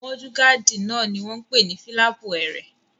Múdúgáàdì náà ni wọ́n n pè ní fílàpù ẹrẹ̀